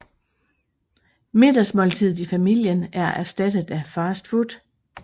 Middagsmåltidet i familien er erstattet af fast food